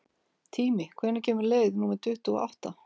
Tími, hvenær kemur leið númer tuttugu og átta?